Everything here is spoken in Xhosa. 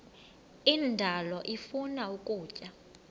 indalo ifuna ukutya